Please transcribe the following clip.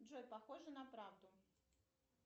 джой похоже на правду